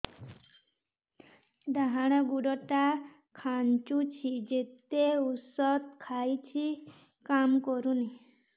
ଡାହାଣ ଗୁଡ଼ ଟା ଖାନ୍ଚୁଚି ଯେତେ ଉଷ୍ଧ ଖାଉଛି କାମ କରୁନି